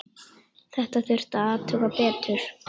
Þetta þurfti að athuga betur.